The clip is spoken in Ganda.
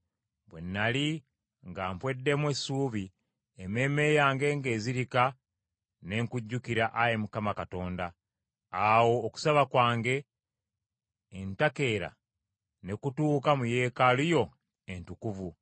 “Bwe nnali nga mpweddemu essuubi, emmeeme yange ng’ezirika ne nkujjukira, Ayi Mukama Katonda. Awo okusaba kwange entakeera ne kutuuka mu yeekaalu yo entukuvu.